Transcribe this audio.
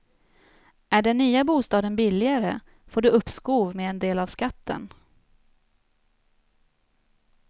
Är den nya bostaden billigare får du uppskov med en del av skatten.